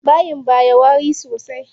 Bayin baya wari sosai.